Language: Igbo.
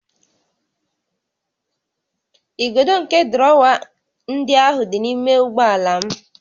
Igodo nke drọwa ndị ahụ dị n'ime ụgbọ ala m